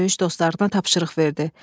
Döyüş dostlarına tapşırıq verdi.